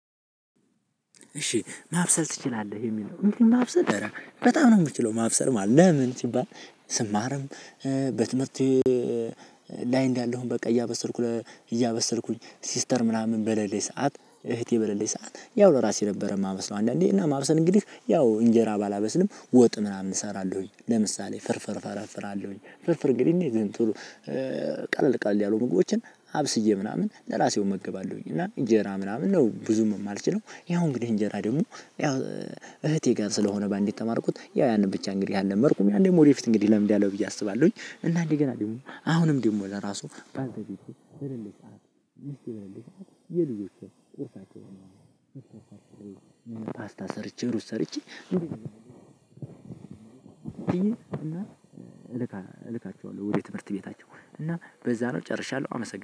እሺ ማብሰል ትችላለህ የሚለው እንዴ? ማብሰል አረ በጣም ነው የምችለው ማብሰል ማለት ነው። ለምን ስባል ስማርም በትምህርት ላይ እንዳለሁኝ። በቃ እያበሰልኩ እያበሰልኩኝ ሲስተር ምናምን በሌሌች ሰዓት እህቴ በሌሌች ሰዓት ያው ለራሴ ነበር የማበስለው። አንዳንዴ እና ማብሰል እንግዲህ ያው እንጄራ ባላበስልም ወጥ ምናምን እሰራለሁኝ። ለምሳሌ ፍርፍር ፈረፍራለሁኝ ፍርፍር እንግዲህ እንዴት ነው? ቶሎ ቀለል ቀለል ያሉ ምግቦችን አብስዬ ምናምን ለራሴው እመገባለሁኝ። እና እንጀራ ምናምን ነው ብዙም የማልችለው። ያው እንግዲህ እንጀራ ደግሞ ያው እህቴ ጋር ስለሆነ በአንዴ የተማርኩት ያው ያንን ብቻ እንግዲህ አልለመድኩም። ያንን ወደፊት እንግዲህ ለምዳለው ብዬ አስባለሁኝ። እና እንደ ገና ደግሞ አሁንም ደግሞ ለራሱ ባንተ ቤት በለለህ ሰዓት የልጆቹ ቁርሳቸው ነው። ፓስታ ሰርቼ ሩስ ሰርቼ እና ልካ ልካቸዋለሁ ወደ ትምህርት ቤታቸው። እና በዛ ነው ጨርሻለሁ አመሰግናለሁ